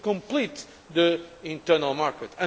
We need to complete the internal market.